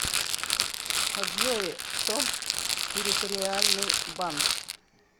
джой томск территориальный банк